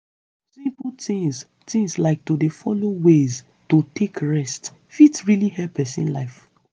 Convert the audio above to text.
simple tins tins like to dey follow ways to take rest fit really help person life